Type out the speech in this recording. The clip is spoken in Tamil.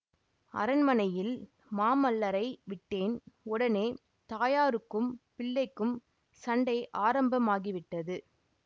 அரண்மனையில் மாமல்லரை விட்டேன் உடனே தாயாருக்கும் பிள்ளைக்கும் சண்டை ஆரம்பமாகிவிட்டது